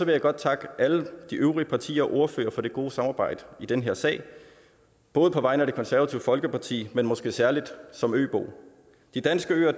jeg godt takke alle de øvrige partier og ordførere for det gode samarbejde i den her sag både på vegne af det konservative folkeparti men måske særlig som øbo de danske øer